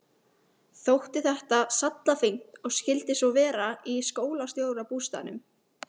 Þótti þetta sallafínt og skyldi svo vera í skólastjórabústaðnum.